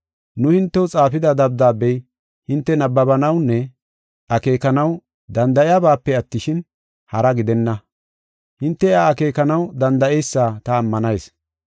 Nu hintew xaafida dabdaabey hinte nabbabanawunne akeekanaw danda7iyabaape attishin, haraa gidenna. Hinte iya akeekanaw danda7eysa ta ammanayis.